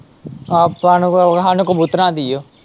ਆਪਾਂ ਨੂੰ ਕੋਈ, ਸਾਨੂੰ ਕਬੂਤਰਾਂ ਦੀ ਓ।